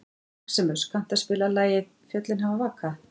Maximus, kanntu að spila lagið „Fjöllin hafa vakað“?